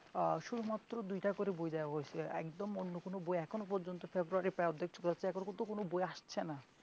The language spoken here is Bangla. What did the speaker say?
আহ শুধুমাত্র দুইটা করে বই দেওয়া হয়েছে একদম অন্য কোন বই এখনো পর্যন্ত ফেব্রুয়ারী প্রায় অর্ধেক এখনো পর্যন্ত কোন বই আসছে না।